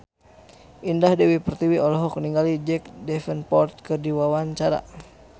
Indah Dewi Pertiwi olohok ningali Jack Davenport keur diwawancara